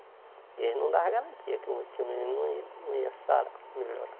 E eles não davam garantia que o que o menino não ia não ia sarar melhorar.